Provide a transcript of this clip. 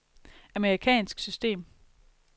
amerikansk system